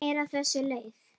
Textinn er á þessa leið